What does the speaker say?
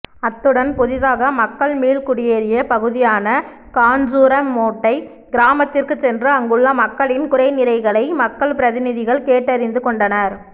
அத்துடன் புதிதாக மக்கள் மீள்குடியேறிய பகுதியான காஞ்சூர மோட்டை கிராமத்திற்குச் சென்று அங்குள்ள மக்களின் குறைநிறைகளை மக்கள் பிரதிநிதிகள் கேட்டறிந்துகொண்டனர்